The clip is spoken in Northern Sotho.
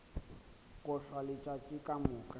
go hlwa letšatši ka moka